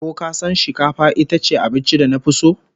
Ko kasan shikafa itace abincin da nafi so?